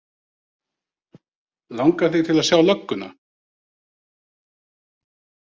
Langar þig til að sjá lögguna?